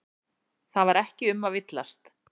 Það var ekki um að villast.